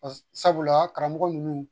Sabula karamɔgɔ ninnu